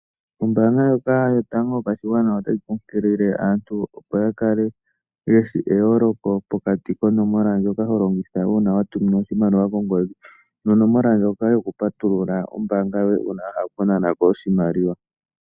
Ombaanga ndjoka yotango yopashigwana otayi kunkilile aantu, opo ya kale ye shi eyooloko pokati konomola ndjoka ho longitha uuna wa tuminwa oshimaliwa kongodhi nonomola ndjoka yokupatulula ombaanga yoye uuna wa hala okunana ko oshimaliwa.